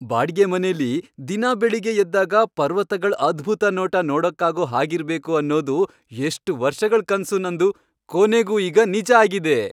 ಬಾಡಿಗೆ ಮನೇಲಿ ದಿನಾ ಬೆಳಿಗ್ಗೆ ಎದ್ದಾಗ ಪರ್ವತಗಳ್ ಅದ್ಭುತ ನೋಟ ನೋಡಕ್ಕಾಗೋ ಹಾಗಿರ್ಬೇಕು ಅನ್ನೋದು ಎಷ್ಟ್ ವರ್ಷಗಳ್ ಕನ್ಸು ನಂದು, ಕೊನೆಗೂ ಈಗ್ ನಿಜ ಆಗಿದೆ!